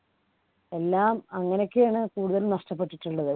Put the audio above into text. എല്ലാം അങ്ങനെയൊക്കെയാണ് കൂടുതൽ നഷ്ടപ്പെട്ടിട്ടുള്ളത്